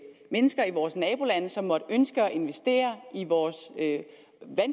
mennesker i vores nabolande som måtte ønske at investere i vores vandkantsområder at